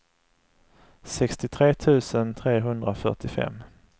sextiotre tusen trehundrafyrtiofem